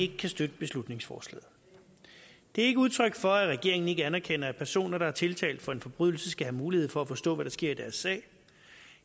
kan støtte beslutningsforslaget det er ikke udtryk for at regeringen ikke anerkender at personer der er tiltalt for en forbrydelse skal have mulighed for at forstå hvad der sker i deres sag